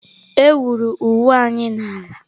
Ewuru ụwa anyị n'ala.